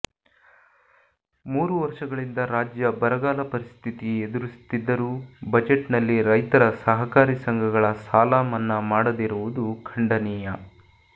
ಮೂರು ವರ್ಷಗಳಿಂದ ರಾಜ್ಯ ಬರಗಾಲ ಪರಿಸ್ಥಿತಿ ಎದುರಿಸುತ್ತಿದ್ದರೂ ಬಜೆಟ್ನಲ್ಲಿ ರೈತರ ಸಹಕಾರಿ ಸಂಘಗಳ ಸಾಲ ಮನ್ನಾ ಮಾಡದಿರುವುದು ಖಂಡನೀಯ